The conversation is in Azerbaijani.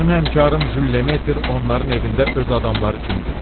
Mənim həmkarım Jül Lemeter onların evində öz adamları kimidir.